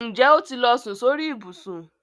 Ǹjẹ́ ó ti lọ sùn sórí ìbùsùn?